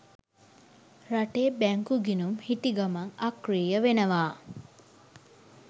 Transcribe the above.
රටේ බැංකු ගිණුම් හිටිගමන් අක්‍රිය වෙනවා.